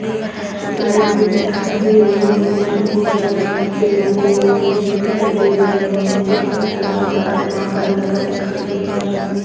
Light भी दिखाई दे रही है और ऊपर बहुत सारे कपड़े लगे हुए भी दिखाई दे रहें हैं नीचे फर्श ब्राउ का ब्राउन कलर का दिखाई दे रहा है।